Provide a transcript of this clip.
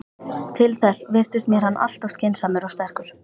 Til þess virtist mér hann alltof skynsamur og sterkur.